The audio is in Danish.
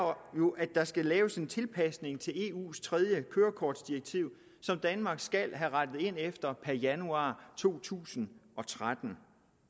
jo at der skal laves en tilpasning til eus tredje kørekortdirektiv som danmark skal have rettet ind efter per januar to tusind og tretten